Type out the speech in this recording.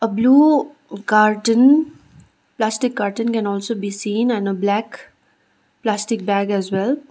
blue carton plastic carton can also be seen and a black plastic bag as well.